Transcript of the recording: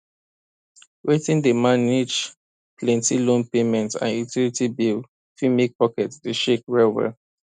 wetin dey manage plenty loan payment and utility bill fit make pocket dey shake well well